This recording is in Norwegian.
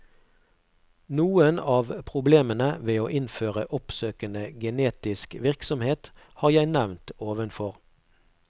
Noen av problemene ved å innføre oppsøkende genetisk virksomhet har jeg nevnt ovenfor.